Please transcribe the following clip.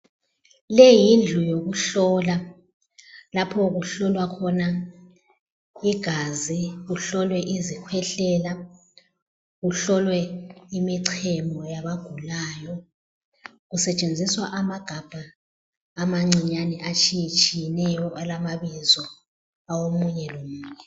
Leyi yindlu yokuhlola. Lapho kuhlolwa khona igazi, kuhlolwe izikhwehlela, kuhlolwe imicemo yabagulayo. Kusetshenziswa amagabha amancinyane atshiyetshiyeneyo alamabizo awo munye lo munye.